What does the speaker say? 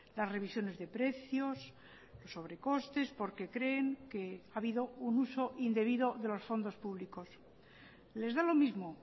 las revisiones de precios sobrecostes porque creen que ha habido un uso indebido de los fondos públicos les da lo mismo o